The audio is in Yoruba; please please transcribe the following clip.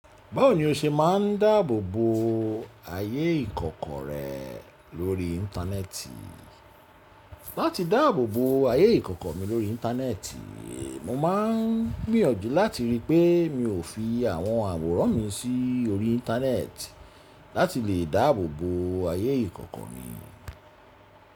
Báwo ni o ṣe máa ń dáàbòbò ayé ìkọ̀kọ̀ rẹ lórí Íńtánẹ́ẹ̀tì? Láti dáàbòbò ayé ìkọ̀kọ̀ mi lórí Íńtánẹ́ẹ̀tì, mo máa ń gbìyànjú láti rí pé mi ò fi àwọn àwòrán mi sí orí Íńtánẹ́ẹ̀tì láti lè dáàbòbò ayé ìkọ̀kọ̀ mi.